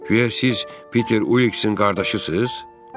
Güya siz Peter Uliksin qardaşısız?